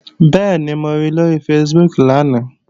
Bẹ́ẹ̀ni, mo ri lóri Facebook lánàá